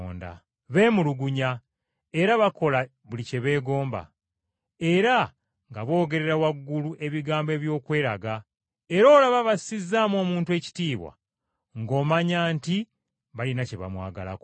Beemulugunya, era bakola buli kye beegomba, era nga boogerera waggulu ebigambo eby’okweraga; era olaba bassizzaamu omuntu ekitiibwa ng’omanya nti balina kye bamwagalako.